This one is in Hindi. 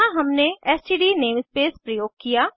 यहाँ हमने एसटीडी नेमस्पेस प्रयोग किया